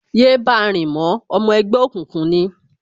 Yé báa rìn mọ́, Ọmọ ẹgbẹ́ òkùnkùn ni!